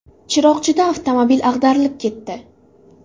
Chiroqchida avtomobil ag‘darilib ketdi.